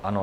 Ano.